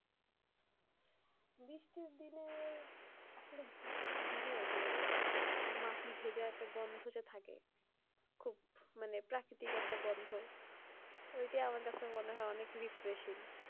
বৃষ্টির দিনে যে, ওই মাটি ভেজা একটা গন্ধ যে থাকে খুব মানে প্রাকৃতিক একটা গন্ধ, ঐটা আমার কাছে মনে হয় অনেক refreshing.